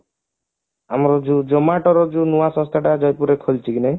ଆମର ଯୋଉ Zomato ର ଯୋଉ ନୂଆ ସଂସ୍ଥା ଟା ଜୟପୁରେରେ ଖୋଲିଛି କିନା